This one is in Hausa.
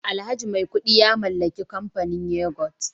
alhaji maikudu ya mallaki kamfanin yoghurt